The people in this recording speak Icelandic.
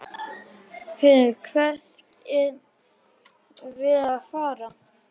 HEYRÐU, HVERT ER VERIÐ AÐ FARA?